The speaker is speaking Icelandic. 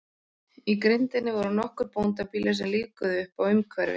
Í grenndinni voru nokkur bóndabýli sem lífguðu uppá umhverfið.